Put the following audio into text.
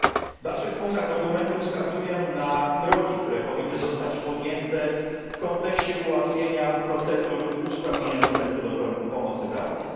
W dalszych punktach dokumentu wskazuję na kroki, które powinny zostać podjęte w kontekście ułatwienia procedur i usprawnienia dostępu do pomocy prawnej.